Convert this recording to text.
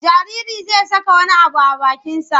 Jaririi zai saka wani abu a bakinsa.